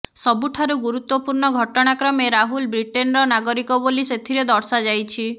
ସବୁଠାରୁ ଗୁରୁତ୍ବପୂର୍ଣ୍ଣ ଘଟଣାକ୍ରମେ ରାହୁଲ ବ୍ରିଟେନର ନାଗରିକ ବୋଲି ସେଥିରେ ଦର୍ଶାଯାଇଛି